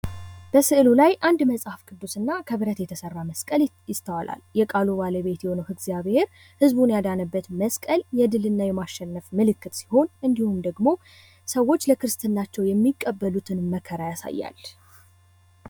በስዕሉ ላይ አንድ መጽሐፍ ቅዱስ እና ከብረት የተሰራ መስቀል ይስተዋላል። የቃሉ ባለቤት የሆነው እግዚአብሔር ህዝብን ያዳነበት መስቀል የድል እና የማሸነፍ ምልክት ሲሆን እንድሁም ደግሞ ሰዎች ለክርስትናቸው የሚቀበሉትን መከራ ያሳያል።